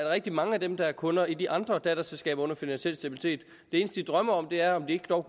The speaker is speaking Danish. rigtig mange af dem der er kunder i de andre datterselskaber under finansiel stabilitet drømmer om er om de dog